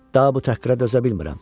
Daha bu təhqirə dözə bilmirəm.